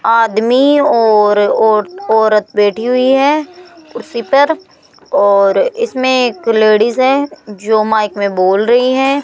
आदमी और औरत बैठी हुई है कुर्सी पर और इसमें एक लेडिस है जो माइक में बोल रही है।